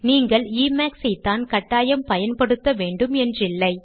நீங்கள் எமாக்ஸ் ஐத்தான் கட்டாயம் பயன்படுத்த வேண்டும் என்றில்லை